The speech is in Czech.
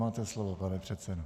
Máte slovo, pane předsedo.